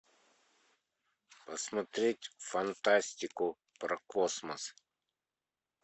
посмотреть фантастику про космос